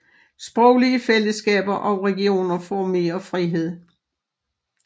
Sproglige fællesskaber og regioner får mere frihed